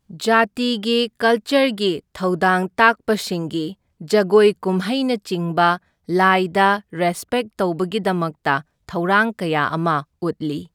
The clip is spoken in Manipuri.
ꯖꯥꯇꯤꯒꯤ ꯀꯜꯆꯔꯒꯤ ꯊꯧꯗꯥꯡ ꯇꯥꯛꯄꯁꯤꯡꯒꯤ ꯖꯒꯣꯏ ꯀꯨꯝꯍꯩꯅꯆꯤꯡꯕ ꯂꯥꯏꯗ ꯔꯦꯁꯄꯦꯛ ꯇꯧꯕꯒꯤꯗꯃꯛꯇ ꯊꯧꯔꯥꯡ ꯀꯌꯥ ꯑꯃ ꯎꯠꯂꯤ꯫